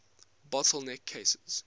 bottle neck cases